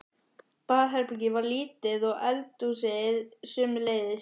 Baðherbergið var lítið og eldhúsið sömuleiðis.